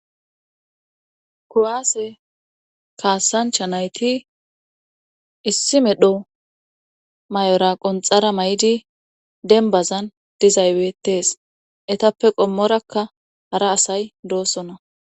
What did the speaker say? kuwaase kaasancha nayti issi medho may7ora qonxara may7di denbazan dizaywetees etappe qommorakka hara asay doosona